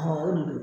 o de don